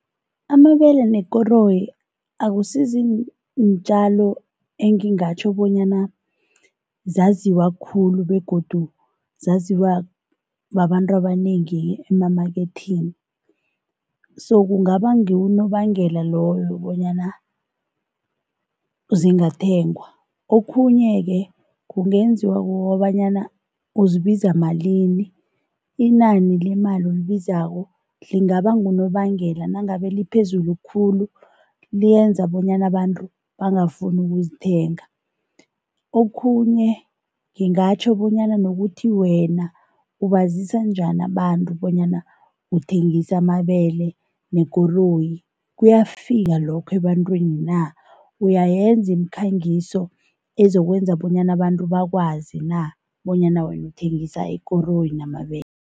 Amabele nekoroyi akusizintjalo engingatjho bonyana zaziwa khulu begodu zaziwa babantu abanengi emamaketheni so kungaba ngiwo unobangela loyo bonyana zingathengwa. Okhunye-ke kungenziwa kukobanyana uzibiza malini, inani lemali olibizako lingaba ngunobangela nangabe liphezulu khulu, liyenza bonyana abantu bangafuni ukuzithenga. Okhunye ngingatjho bonyana nokuthi wena ubazisa njani abantu bonyana uthengisa amabele nekoroyi kuyafika lokho ebantwini na, uyayenza imikhangiso ezokwenza bonyana abantu bakwazi na bonyana wena uthengisa ikoroyi namabele.